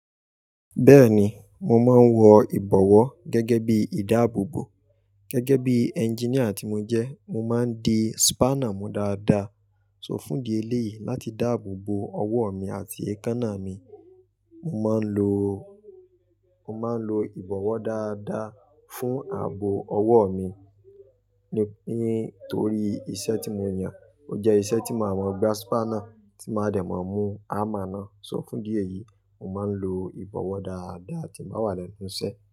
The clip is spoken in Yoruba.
Bẹ́ẹ̀ni, mo máa ń wọ ìbọ̀wọ́ gẹ́gẹ́ bí ìdáàbòbò. Gẹ́gẹ́ bí engineer tí mo jẹ, mo máa ń di spanner mú dáadáa. So fún di èléyìí láti dáàbòbò ọwọ́ mi àti èékánná mi, mo máa ń lo, mo máa ń lo ìbọ̀wọ́ dáadáa fún ààbò ọwọ́ mi. Nítorí iṣẹ́ tí mo yàn, ó jẹ́ iṣẹ́ tí màá mọ gba spanner, tí màá dẹ̀ mọ mú hammer ná. So fún idi èyí, mo máa ń lo ìbọ̀wọ́ dáadáa tí n bá wà lẹ́nu iṣẹ́